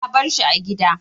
Na bar shi a gida.